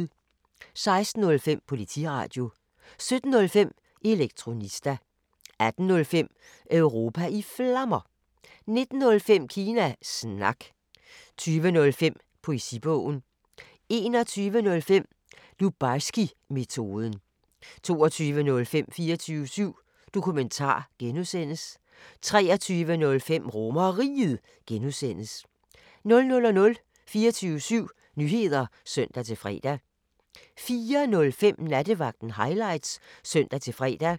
16:05: Politiradio 17:05: Elektronista 18:05: Europa i Flammer 19:05: Kina Snak 20:05: Poesibogen 21:05: Lubarskimetoden 22:05: 24syv Dokumentar (G) 23:05: RomerRiget (G) 00:00: 24syv Nyheder (søn-fre) 04:05: Nattevagten Highlights (søn-fre)